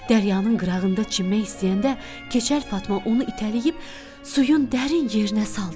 Dəryanın qırağında çimmək istəyəndə Keçəl Fatma onu itələyib suyun dərin yerinə saldı.